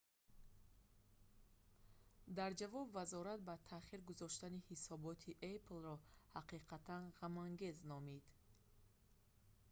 дар ҷавоб вазорат ба таъхир гузоштани ҳисоботи apple-ро ҳақиқатан ғамангез номид